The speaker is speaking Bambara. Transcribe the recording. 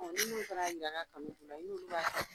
ni minnu fana y'a ɲininka a ka kanu kun na i n'ulu ba